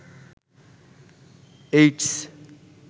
AIDS